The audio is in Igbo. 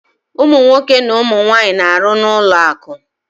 Ụmụ nwoke na ụmụ nwaanyị na-arụ n'ụlọakụ